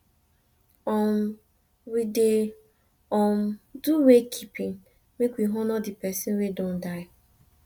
um we dey um do wake keeping make we honor di pesin wey don don die